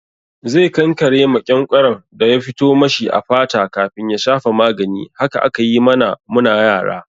Zai kankare maƙyanƙyaron da ya fito mashi a fata kafin ya shafa magani. Haka aka yi mana mu na yara.